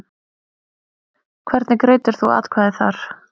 Hvernig greiddir þú atkvæði þar?